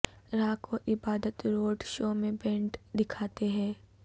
rock اور عبادت road show میں بینڈ دکھاتے ہیں